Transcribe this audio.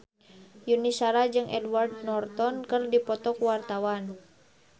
Yuni Shara jeung Edward Norton keur dipoto ku wartawan